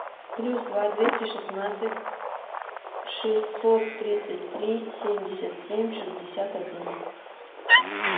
плюс два двести шестнадцать шестьсот тридцать три семьдесят семь шестьдесят один